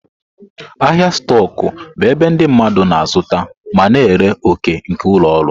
Ahịa stoku bụ ebe ndị mmadụ na-azụta ma na-ere òkè nke ụlọ ọrụ.